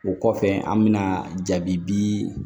O kɔfɛ an bɛna jaabi bi